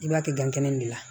I b'a kɛ gan kɛnɛ nin de la